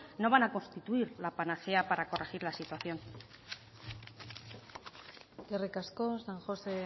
no van a constituir la panacea para corregir la situación eskerrik asko san josé